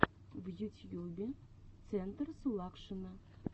в ютьюбе центр сулакшина